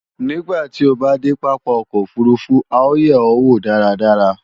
Nígbàtí o bá dé pápá ọkọ̀ òfurufú à ó yè ó wò dáradára